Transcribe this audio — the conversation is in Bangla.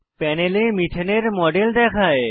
প্যানেলে মিথেন মিথেন এর মডেল দেখায়